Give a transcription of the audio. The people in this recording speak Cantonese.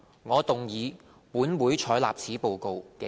我動議"本會採納此報告"的議案。